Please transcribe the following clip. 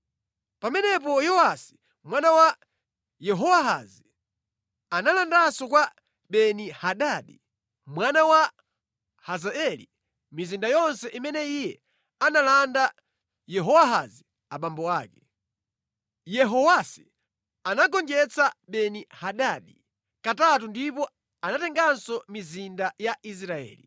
Pamenepo Yowasi mwana wa Yehowahazi analandanso kwa Beni-Hadadi mwana wa Hazaeli mizinda yonse imene iye analanda Yehowahazi abambo ake. Yehowasi anagonjetsa Beni-Hadadi katatu ndipo anatenganso mizinda ya Israeli.